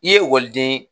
I ye ekɔliden